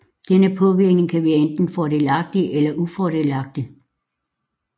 Denne påvirkning kan være enten fordelagtig eller ufordelagtig